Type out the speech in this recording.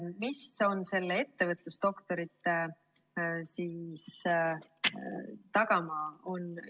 Mis on ettevõtlusdoktorantuuri tagamaa?